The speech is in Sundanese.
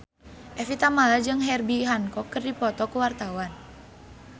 Evie Tamala jeung Herbie Hancock keur dipoto ku wartawan